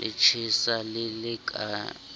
le tjhesa le le ka